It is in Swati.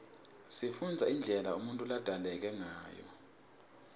sifunbza indlela unutfu labzaleke ngayo